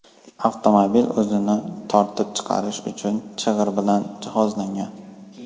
Avtomobil o‘zini tortib chiqarish uchun chig‘ir bilan jihozlangan.